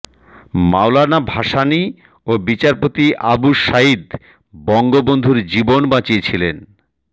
মওলানা ভাসানী ও বিচারপতি আবু সাইদ বঙ্গবন্ধুর জীবন বাঁচিয়েছিলেন